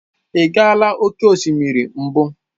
Ị gaala oke osimiri mbụ?